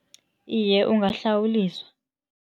Iye, ungahlawuliswa.